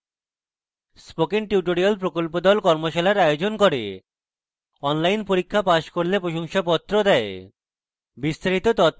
spoken tutorial প্রকল্প the কর্মশালার আয়োজন করে অনলাইন পরীক্ষা পাস করলে প্রশংসাপত্র দেয়